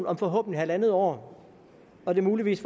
om forhåbentlig halvandet år når det muligvis